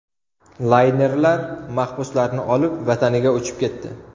Laynerlar mahbuslarni olib, vataniga uchib ketdi.